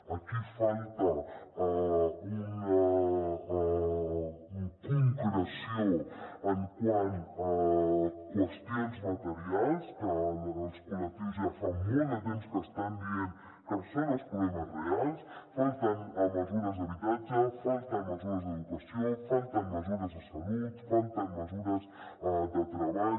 aquí falta una concreció quant a qüestions materials que els col·lectius ja fa molt de temps que estan dient que són els problemes reals falten mesures d’habitatge falten mesures d’educació falten mesures de salut falten mesures de treball